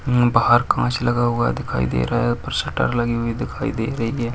हूँ बाहर कांच लगा हुआ दिखाई दे रहा है ऊपर शटर लगी हुई दिखाई दे रही है।